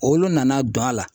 Olu nana don a la.